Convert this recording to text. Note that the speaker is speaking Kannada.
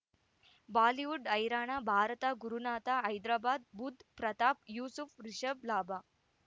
ಬಾಲಿವುಡ್ ಹೈರಾಣ ಭಾರತ ಗುರುನಾಥ ಹೈದರಾಬಾದ್ ಬುಧ್ ಪ್ರತಾಪ್ ಯೂಸುಫ್ ರಿಷಬ್ ಲಾಭ